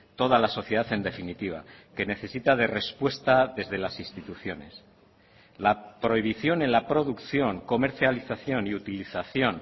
toda la sociedad en definitiva que necesita de respuesta desde las instituciones la prohibición en la producción comercialización y utilización